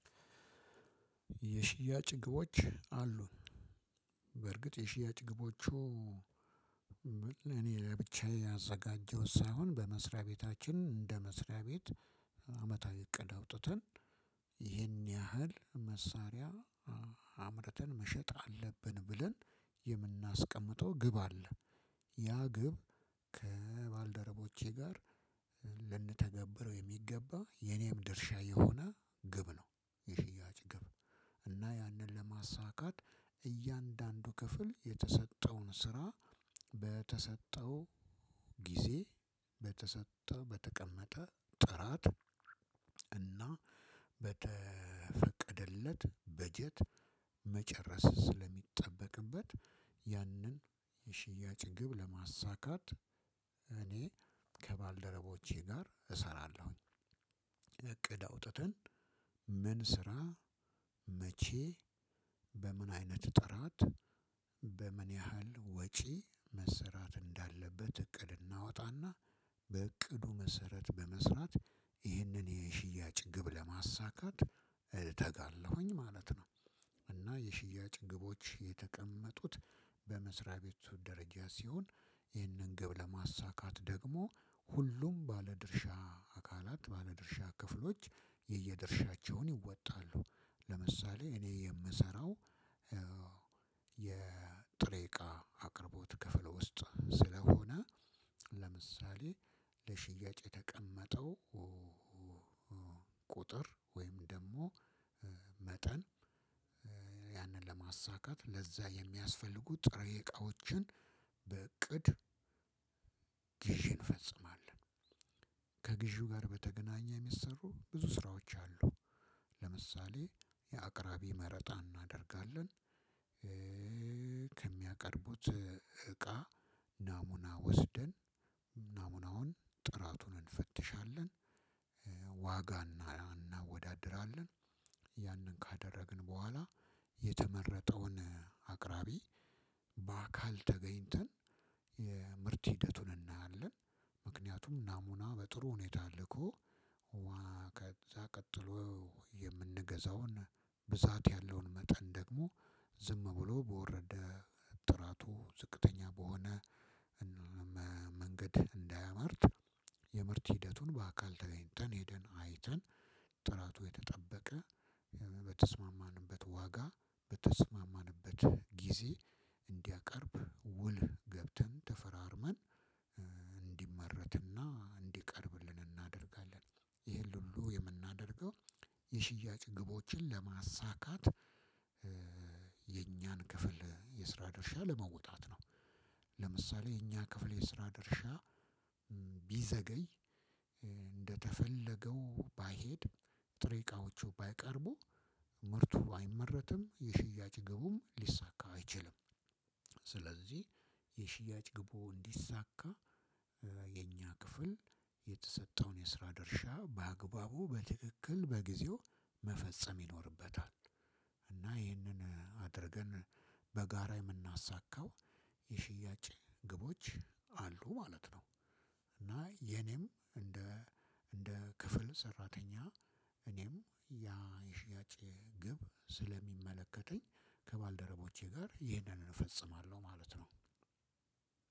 የሽያጭ ግቦች አሉን። በርግጥ የሽያጭ ግቦቹ እኔ ለብቻዬ ያዘጋጀሁት ሳይሆን በመስሪያ ቤታችን እንደ መስሪያ ቤት አመታዊ እቅድ አውጥተን ይህን ያህል መሳሪያ አምርተን መሸጥ አለብን ብለን የምናስቀምጠው ግብ አለ። ያ ግብ ከባልደረቦቼ ጋር ልንተገብረው የሚገባ የኔም ድርሻ የሆነ ግብ ነው። የሽያጭ ግብ እና ያንን ለማሳካት እያንዳንዱ ክፍል የተሰጠውን ስራ በተሰጠው ጊዜ በተሰጠው በተቀመጠ ጥራት እና በተፈቀደለት በጀት መጨረስ ስለሚጠበቅበት ያንን የሽያጭ ግብ ለማሳካት እኔ ከባልደረቦቼ ጋር እሰራለሁኝ። እቅድ አውጥተን ምን ስራ መቼ በምን አይነት ጥራት በምን ያህል ወጪ መሰራት እንዳለበት እቅድ እናወጣና በእቅዱ መሰረት በመስራት ይህንን የሽያጭ ግብ ለማሳካት እተጋለሁኝ ማለት ነው። እና የሽያጭ ግቦች የተቀመጡት በመስሪያ ቤቱ ደረጃ ሲሆን ይህንን ግብ ለማሳካት ደግሞ ሁሉም ባለድርሻ አካላት ባለድርሻ ክፍሎች የየድርሻቸውን ይወጣሉ። ለምሳሌ እኔ የምሰራው የጥሬ እቃ አቅርቦት ክፍል ውስጥ ስለሆነ ለምሳሌ ለሽያጭ የተቀመጠው ወይም ደግሞ መጠን ያንን ለማሳካት ለዛ የሚያስፈልጉት ጥሬ እቃዎችን በእቅድ ግዢ እንፈጽማለን ከግዢው ጋር በተገናኘ የሚሰሩ ብዙ ስራዎች አሉ ለምሳሌ የአቅራቢ መረጣ እናደርጋለን ከሚያቀርቡት እቃ ናሙና ወስደን ናሙናውን ጥራቱን እንፈትሻለን። ዋጋ እና እናወዳድራለን ያንን ካደረግን በኋላ የተመረጠውን አቅራቢ በአካል ተገኝተን የምርት ሂደቱን እናያለን። ምክንያቱም ናሙና በጥሩ ሁኔታ ልኮ ከዛ ቀጥሎ የምንገዛውን ብዛት ያለውን መጠን ደግሞ ዝም ብሎ በወረደ ጥራቱ ዝቅተኛ በሆነ መንገድ እንዳያማርት የምርት ሂደቱን በአካል ተገኝተን ሄደን አይተን ጥራቱ የተጠበቀ በተስማማንበት ዋጋ በተስማማንበት ጊዜ እንዲያቀርብ ውል ገብተን ተፈራርመን እንዲመረትና እንዲቀርብልን እናደርጋለን። ይሄን ሁሉ የምናደርገው የሽያጭ ግቦችን ለማሳካት የኛን ክፍል የስራ ድርሻ ለመወጣት ነው። ለምሳሌ እኛ ክፍል የስራ ድርሻ ቢዘገይ እንደተፈለገው ባይሄድ ጥሬ እቃዎቹ ባይቀርቡ ምርቱ አይመረትም የሽያጭ ገቡም ሊሳካ አይችልም። ስለዚህ የሽያጭ ግቡ እንዲሳካ የኛ ክፍል የተሰጠውን የስራ ድርሻ በአግባቡ በትክክል በጊዜው መፈጸም ይኖርበታል። እና ይህንን አድርገን በጋራ የምናሳካው የሽያጭ ግቦች አሉ ማለት ነው። እና የኔም እንደ እንደ ክፍል ሰራተኛ እኔም ያ የሽያጭ ግብ ስለሚመለከተኝ ከባልደረቦቼ ጋር ይሄንን እፈጽማለሁ ማለት ነው።